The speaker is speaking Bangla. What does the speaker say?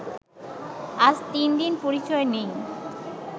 আজ তিন দিন পরিচয় নেই